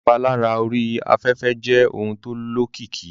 Ìpalára orí afẹ́fẹ́ jẹ́ ohun tó lókìkí